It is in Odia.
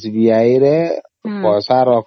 SBI ରେ ପଇସା ରଖିଲ